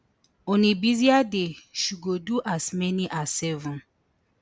on a busier day she go do as many as seven